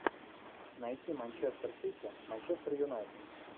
найти манчестер сити манчестер юнайтед